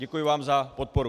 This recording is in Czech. Děkuji vám za podporu.